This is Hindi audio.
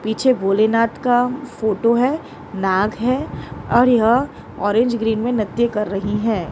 पीछे भोलेनाथ का फोटो है नाग है और यह ऑरेंज ग्रीन में नृत्य कर रही है।